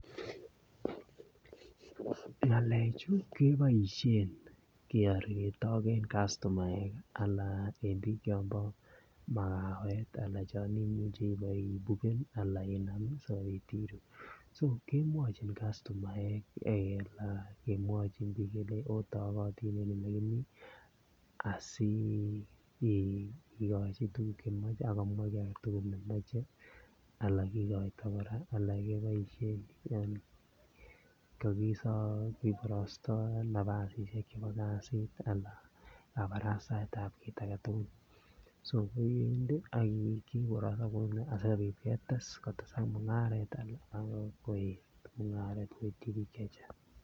ngalechu keboishen keorortoi en kastomaeki anan en biik chombo makaweti anan chon imuche ipoi buken anan inami sikopit iruu so kemwochin kastomaek en kemwochin kelein otokotin en ole kimi asii kikochi tuguk chemoche akomwa kii agetugul nemoche ala kikoito kora ala keboishen en koki borostoo napasishek nebo kasiti ala kabarastaetab kit agetugul so koiwendi aki um koronon kouni asikopit ketes kotesak mungaret koet ak koityi biik chechang